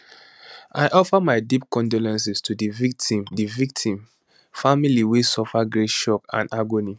i offer my deep condolences to di victim di victim family wey suffer great shock and agony